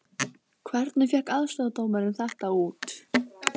Hvernig fékk aðstoðardómarinn þetta út????